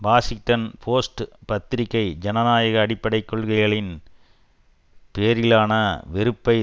Washington Post பத்திரிகை ஜனநாயக அடிப்படை கொள்கைகளின் பேரிலான வெறுப்பை